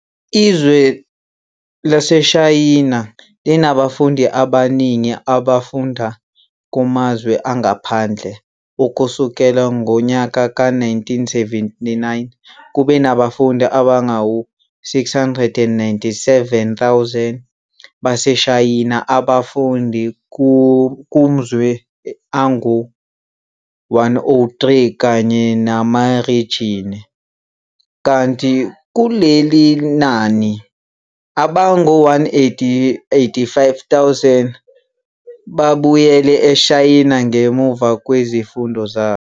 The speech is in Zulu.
Izwe laseShayina linabafundi abaningi abafunda kumazwe angaphandle, ukusukela ngonyaka ka 1979 kube nabafundi abangu 697 000 baseShayina abafunda kumzwe angu 103 kanye namarijini, kanti kulelinani, abangu 185 000 babuyele eShayina ngemuva kwezifundo zabo.